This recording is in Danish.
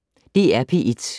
DR P1